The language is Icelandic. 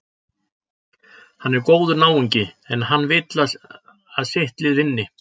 Hann er góður náungi, en hann vill að sitt lið vinni.